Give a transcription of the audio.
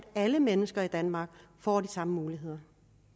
at alle mennesker i danmark får de samme muligheder